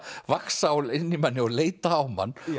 vaxa inn í manni og leita á mann